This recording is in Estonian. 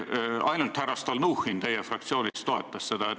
Ainult härra Stalnuhhin teie fraktsioonist toetas seda.